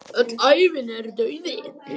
Öll ævin er dauði.